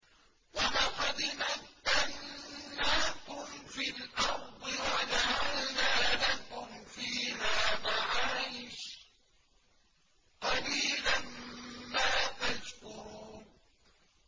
وَلَقَدْ مَكَّنَّاكُمْ فِي الْأَرْضِ وَجَعَلْنَا لَكُمْ فِيهَا مَعَايِشَ ۗ قَلِيلًا مَّا تَشْكُرُونَ